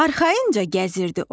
Arxayınca gəzirdi o.